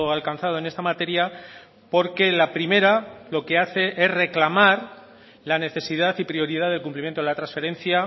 alcanzado en esta materia porque la primera lo que hace es reclamar la necesidad y prioridad del cumplimiento de la transferencia